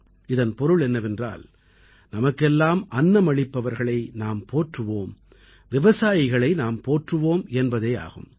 இதன் பொருள் என்னவென்றால் நமக்கெல்லாம் அன்னமளிப்பவர்களை நாம் போற்றுவோம் விவசாயிகளை நாம் போற்றுவோம் என்பதேயாகும்